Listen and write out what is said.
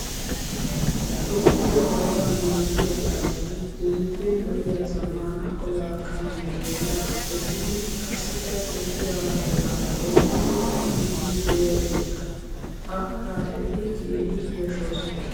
Toophphiyaa zawaa naagiyaa xaaceti keehippe lo'iyaa zammaana olaa kaamiyaa bolla toggidi qassikka Toophphiya banddiraa oyiqqidi biiddi diyaageeta. A xaaceti keehi yashshoosona.